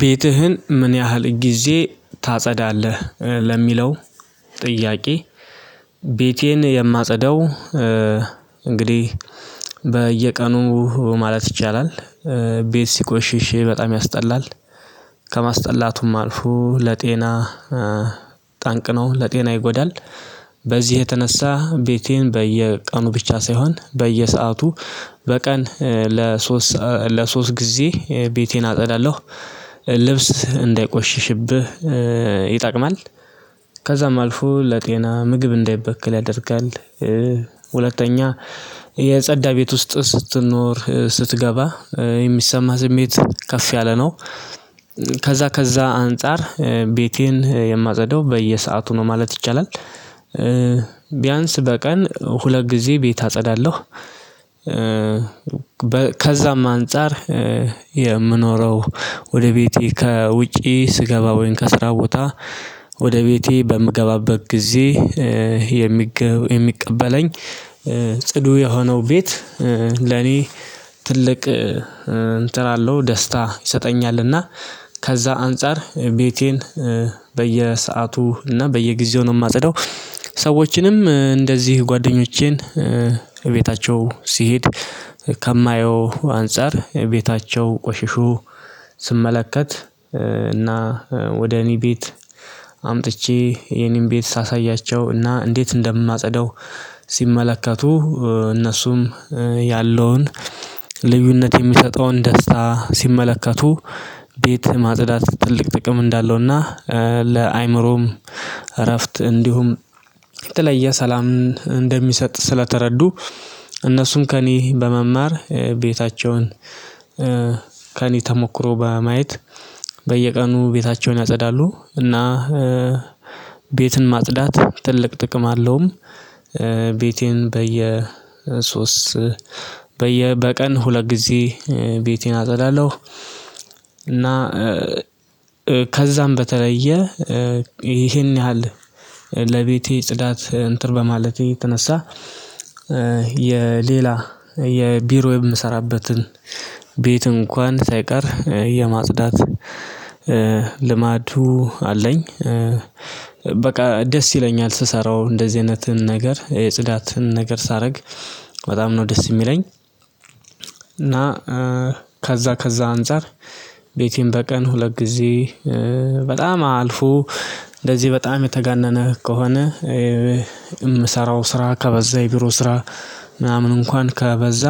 ቤትህን ምን ያህል ጊዜ ታጸዳለህ ለሚለው ጥያቄ? ቤቴን የማጸደው እንግዲህ በየቀኑ ማለት ይቻላል። ቤት ሲቆሽሽ በጣም ያስጠላል። ከማስጠላቱም አልፎ ለጤና ጠንቅ ነው ለጤና ይጎዳል። በዚህ የተነሳ ቤቴን በየቀኑ ብቻ ሳይሆን በየሰአቱ በቀን ለሶስት ለሶስት ጊዜ ቤቴን አጸዳለሁ። ልብስ እንዳይቆሽሽብህ ይጠቅማል። ከዛም አልፎ ለጤና ምግብ እንዳይበከል ያደርጋል። ሁለተኛ የጸዳ ቤት ውስጥ ስትኖር ስትገባ የሚሰማ ስሜት ከፍ ያለ ነው። ከዛ ከዛ አንፃር ቤቴን የማጸዳው በየሰአቱ ነው ማለት ይቻላል። ቢያንስ በቀን ሁለት ጊዜ ቤት አጸዳለሁ። ከዛም አንፃር የምኖረው ወደ ቤቴ ከውጪ ስገባ ወይም ከስራ ቦታ ወደ ቤቴ በምገባበት ጊዜ የሚቀበለኝ ጽዱ የሆነው ቤት ለኔ ትልቅ እንትን አለው ደስታ ይሰጠኛልና። ከዛ አንፃር ቤቴን በየሰአቱ እና በየጊዜው ነው የማጽደው። ሰዎችንም እንደዚህ ጓደኞቼን ቤታቸው ሲሄድ ከማየው አንፃር ቤታቸው ቆሽሹ ስመለከት እና ወደ እኔ ቤት አምጥቼ የኔን ቤት ሳሳያቸው እና እንዴት እንደማጸደው። ሲመለከቱ እነሱም ያለውን ልዩነት የሚሰጠውን ደስታ ሲመለከቱ ቤት ማጽዳት ትልቅ ጥቅም እንዳለውና ለአእምሮም እረፍት እንዲሁም የተለየ ሰላምን እንደሚሰጥ ስለተረዱ። እነሱም ከእኔ በመማር ቤታቸውን ከኔ ተሞክሮ በማየት በየቀኑ ቤታቸውን ያጸዳሉ። እና ቤትን ማጽዳት ትልቅ ጥቅም አለውም። ቤቴን በየ ሶስት በቀን ሁለት ጊዜ ቤቴን አጸዳለሁ። እና ከዛም በተለየ ይሄን ያህል ለቤቴ ጽዳት እንትር በማለቴ የተነሳ የሌላ የቢሮ የምሰራበትን ቤት እንኳን ሳይቀር የማጽዳት ልማዱ አለኝ። በቃ ደስ ይለኛል ስሰራው እንደዚህ አይነት ነገር የጽዳትን ነገር ሳረግ በጣም ነው ደስ የሚለኝ። እና ከዛ ከዛ አንፃር ቤቴን በቀን ሁለት ጊዜ በጣም አልፎ እንደዚህ በጣም የተጋነነ ከሆነ የምሰራው ስራ ከበዛ የቢሮ ስራ ምናምን እንኳን ከበዛ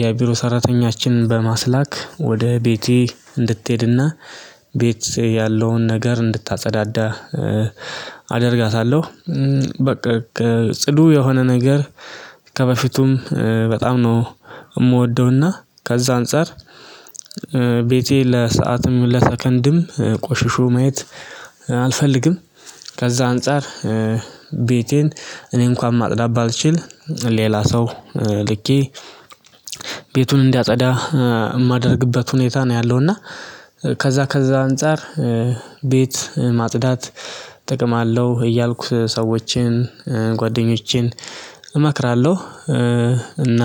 የቢሮ ሰራተኛችንን በማስላክ ወደ ቤቴ እንድትሄድና ቤት ያለውን ነገር እንድታጸዳዳ አደርጋታለሁ። በቃ ጽዱ የሆነ ነገር ከበፊቱም በጣም ነው የምወደውና ከዛ አንፃር ቤቴ ለሰአትም ለሰከንድም ቆሽሾ ማየት አልፈልግም። ከዛ አንፃር ቤቴን እኔ እንኳን ማጽዳት ባልችል ሌላ ሰው ልኬ ቤቱን እንዲያፀዳ የማደርግበት ሁኔታ ነው ያለው። እና ከዛ ከዛ አንፃር ቤት ማጽዳት ጥቅም አለው እያልኩ ሰዎችን ጓደኞቼን እመክራለሁ። እና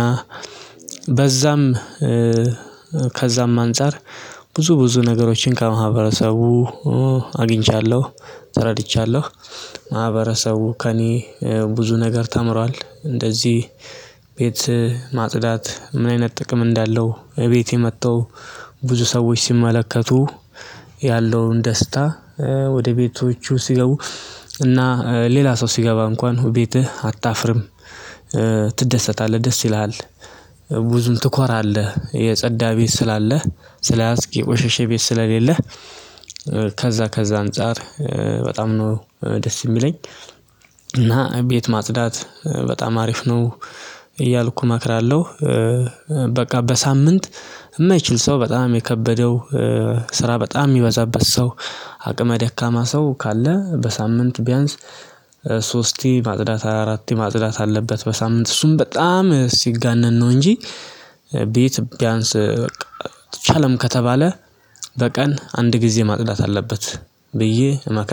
በዛም ከዛም አንፃር ብዙ ብዙ ነገሮችን ከማህበረሰቡ አግኝቻለሁ ተረድቻለሁ ማህበረሰቡ ከእኔ ብዙ ነገር ተምሯል። እንደዚህ ቤት ማጽዳት ምን አይነት ጥቅም እንዳለው? እቤቴ መጥተው ብዙ ሰዎች ሲመለከቱ ያለውን ደስታ ወደ ቤቶቹ ሲገቡ እና ሌላ ሰው ሲገባ እንኳን ቤትህ አታፍርም ትደሰታለህ ደስ ይልሃል። ብዙም ትኮራለህ የጸዳ ቤት ስላለህ ስለያዝክ የቆሸሸ ቤት ስለሌለህ። ከዛ አንፃር በጣም ነው ደስ የሚለኝ። እና ቤት ማጽዳት በጣም አሪፍ ነው እያልኩ እመክራለው። በቃ በሳምንት የማይችል ሰው በጣም የከበደው ስራ በጣም የሚበዛበት ሰው አቅመ ደካማ ሰው ካለ በሳምንት ቢያንስ ሶስቴ ማጽዳት አራቴ ማጽዳት አለበት። በሳምንት እሱም በጣም ሲጋነን ነው እንጂ ቤት ቢያንስ በቃ አልተቻለም ከተባለ በቀን አንድ ጊዜ ማጽዳት አለበት ብዬ እመክራለሁ